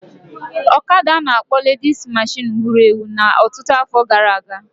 ọkada a na-akpọ ledis meshịn wuru ewu na ọtụtụ afọ gara aga